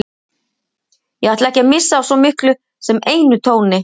Ég ætla ekki að missa af svo miklu sem einum tóni.